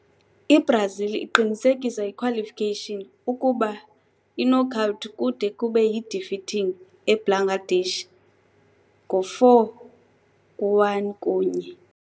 IBrazil iqinisekiswa iqualification ukuba iknockout kude kube yi-defeating eBangladesh ngo4-1 kunye.